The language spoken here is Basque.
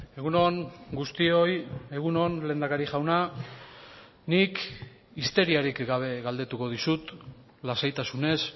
egun on guztioi egun on lehendakari jauna nik histeriarik gabe galdetuko dizut lasaitasunez